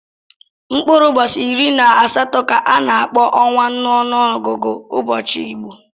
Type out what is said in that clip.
Mkpụrụ ụbọchị iri na asatọ ka a na-akpọ ọnwa n'ọnụọgụgụ ụbọchị Igbo.